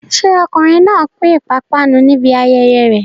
Ṣé ọkùnrin náà pín ìpápánu níbi ayẹyẹ rẹ̀?